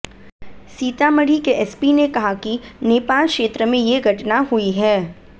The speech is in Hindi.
सीतामढ़ी के एसपी ने कहा कि नेपाल क्षेत्र में ये घटना हुई है